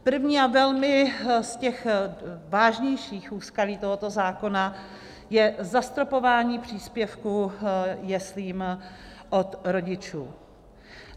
První a velmi z těch vážnějších úskalí tohoto zákona je zastropování příspěvku jeslím od rodičů.